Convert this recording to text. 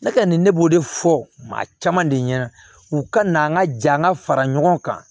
Ne kɛlen ne b'o de fɔ maa caman de ɲɛna u ka na an ka ja an ka fara ɲɔgɔn kan